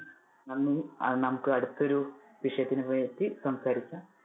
നന്ദി അഹ് നമുക്ക് അടുത്തൊരു വിഷയത്തിനെ പറ്റി സംസാരിക്കാം.